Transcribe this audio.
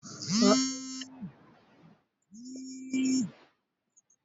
Ranar haihuwar abokaina a watan Yuni ne